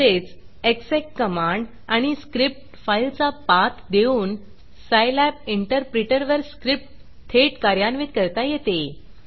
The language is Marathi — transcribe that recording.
तसेच execएग्ज़ेक कमांड आणि स्क्रिप्ट फाईलचा पाथ देऊन सायलॅब इंटरप्रीटरवर स्क्रिप्ट थेट कार्यान्वित करता येते